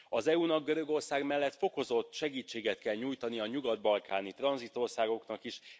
Az EU nak Görögország mellett fokozott segítséget kell nyújtania a nyugat balkáni tranzitországoknak is.